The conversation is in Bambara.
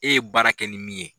E ye baara kɛ ni min ye